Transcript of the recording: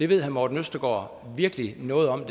ved herre morten østergaard virkelig noget om